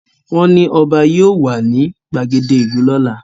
Wọ́n ní ọba yóò wà ní gbàgede ìlú lọ́la